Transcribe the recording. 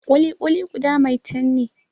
Ƙuli-ƙuli guda maitan ne